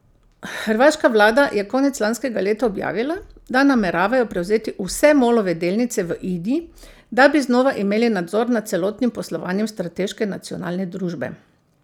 Hrvaška vlada je konec lanskega leta objavila, da nameravajo prevzeti vse Molove delnice v Ini, da bi znova imeli nadzor nad celotnim poslovanjem strateške nacionalne družbe.